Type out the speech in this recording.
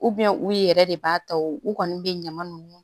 u yɛrɛ de b'a ta o u kɔni bɛ ɲaman nunnu